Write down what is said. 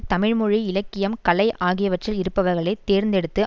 தமிழ்மொழி இலக்கியம் கலை ஆகியவற்றில் இருப்பவர்களை தேர்ந்தெடுத்து